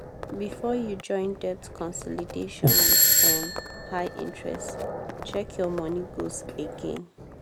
before you join debt consolidation with um high interest check your money goals again.